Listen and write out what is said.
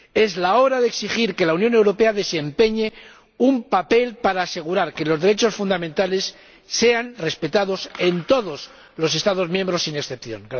Es la hora de exigir que la Unión Europea desempeñe un papel para asegurar que los derechos fundamentales sean respetados en todos los Estados miembros sin excepción.